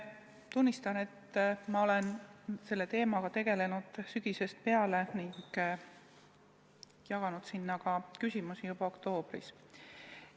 Tunnistan, et ma olen selle teemaga tegelenud sügisest peale ning jaganud neid küsimusi juba oktoobris.